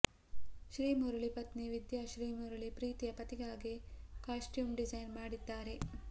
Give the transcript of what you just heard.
ಶ್ರೀಮುರುಳಿ ಪತ್ನಿ ವಿದ್ಯಾ ಶ್ರೀಮುರುಳಿ ಪ್ರೀತಿಯ ಪತಿಗಾಗಿ ಕಾಸ್ಟ್ಯೂಮ್ ಡಿಸೈನ್ ಮಾಡ್ತಿದ್ದಾರೆ